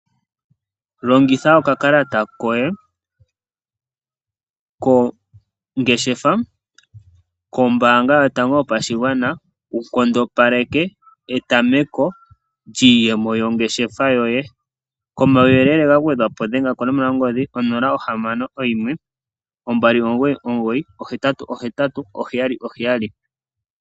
Longitha okakalata koye kongeshefa kombaanga yotango yopashigwana wu nkondopaleke etameko lyiiyemo yongeshefa yoye. Komauyelele ga gwedhwa po dhenga konomola yongodhi 061 2998877.